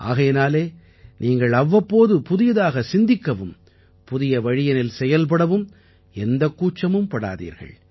ஆகையினாலே நீங்கள் அவ்வப்போது புதியதாக சிந்திக்கவும் புதிய வழியினில் செயல்படவும் எந்த கூச்சமும் படாதீர்கள்